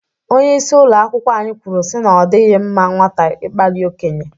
Onyeisi ụlọ akwụkwọ anyị kwuru si na ọ dịghị mma nwata ịkpali okenye.